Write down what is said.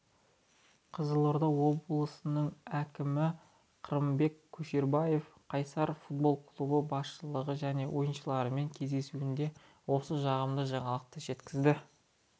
қызылорда облысының әкімі қырымбек көшербаев қайсар футбол клубы басшылығы және ойыншылармен кездесуінде осы жағымды жаңалықты жеткізді